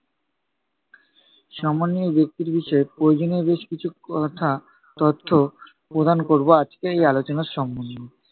সম্মানীয় ব্যক্তির বিষয়ে প্রয়োজনীয় বেশ কিছু ক~কথা, তথ্য প্রদান করবো আজকে এই আলোনার সম্বন্ধে ।